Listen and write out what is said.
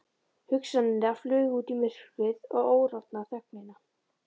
Hugsanirnar flugu út í myrkrið og órofna þögnina.